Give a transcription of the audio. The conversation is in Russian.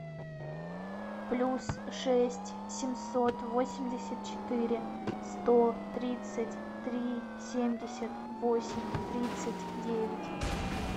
плюс шесть семьсот восемьдесят четыре сто тридцать три семьдесят восемь тридцать девять